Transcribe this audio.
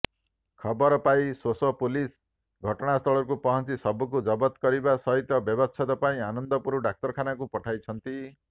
ଖବରପାଇ ସୋସୋ ପୁଲିସ ଘଟଣାସ୍ଥଳରେ ପହଞ୍ଚି ଶବକୁ ଜବଦ କରିବା ସହିତ ବ୍ୟବଚ୍ଛେଦ ପାଇଁ ଆନନ୍ଦପୁର ଡାକ୍ତରଖାନାକୁ ପଠାଇଛନ୍ତି